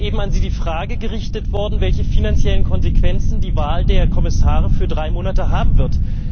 Es ist eben an Sie die Frage gerichtet worden, welche finanziellen Konsequenzen die Wahl der Kommissare für drei Monate haben wird.